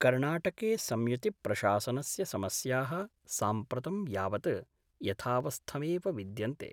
कर्णाटके संयुतिप्रशासनस्य समस्याः साम्प्रतं यावत् यथावस्थमेव विद्यन्ते।